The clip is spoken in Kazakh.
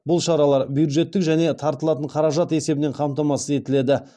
бұл шаралар бюджеттік және тартылатын қаражат есебінен қамтамасыз етіледі